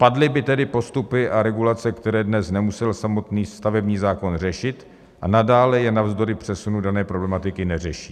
Padly by tedy postupy a regulace, které dnes nemusel samotný stavební zákon řešit a nadále je navzdory přesunu dané problematiky neřeší.